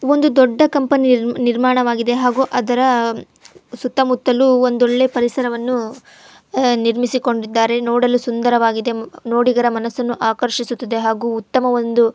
ಒಂದು ದೊಡ್ಡ ಕಂಪನಿ ನೀರ್ ನಿರ್ಮಾಣವಾಗಿದೆ ಹಾಗೂ ಅದರ ಸುತ್ತಮುತ್ತಲು ಒಂದು ಒಳ್ಳೆ ಪರಿಸರವನ್ನು ಅಹ್ ನಿರ್ಮಿಸಿಕೊಂಡಿದ್ದಾರೆ. ನೋಡಲು ಸುಂದರವಾಗಿದೆ. ನೋಡಿದರೆ ಮನಸ್ಸನ್ನು ಆಕರ್ಷಿಸುತ್ತದೆ ಹಾಗೂ ಉತ್ತಮ ಒಂದು --